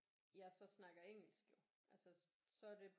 Jeg så snakker engelsk jo altså så er det